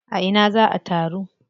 A ina za a taru?